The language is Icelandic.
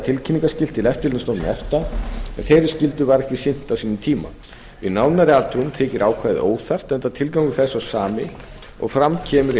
tilkynningarskylt til eftirlitsstofnunar efta en þeirri skyldu var ekki sinnt á sínum tíma við nánari athugun þykir ákvæðið óþarft enda tilgangur þess sá sami og fram kemur í